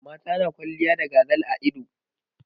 Mata na kwalliya da gazal a ido.